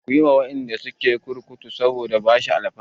Ku yi wa waɗanda suke kurkuku saboda bashi alfarma!